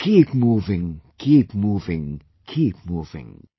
Keep moving keep moving keep moving